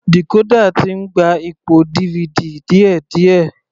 Decorder ti ń gba ipò DVD díẹ̀díẹ̀.